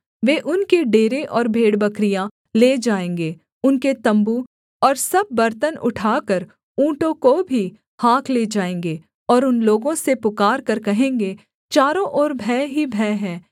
वे उनके डेरे और भेड़बकरियाँ ले जाएँगे उनके तम्बू और सब बर्तन उठाकर ऊँटों को भी हाँक ले जाएँगे और उन लोगों से पुकारकर कहेंगे चारों ओर भय ही भय है